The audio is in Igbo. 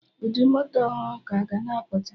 Ụdị moto ọhụrụ ka ga na apụta